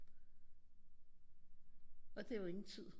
Og det er jo ingen tid